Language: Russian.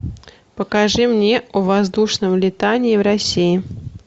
покажи мне о воздушном летании в россии